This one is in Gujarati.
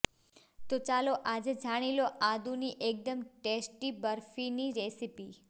તો ચાલો આજે જાણી લો આદુની એકદમ ટેસ્ટી બરફીની રેસિપી